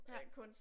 Ja